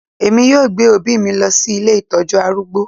Èmi yóò gbé òbí mi lọ sí ilé ìtọ́jú arúgbó